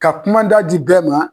Ka kumada di bɛɛ ma